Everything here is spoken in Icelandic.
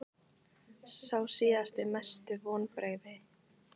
Sá síðasti Mestu vonbrigði?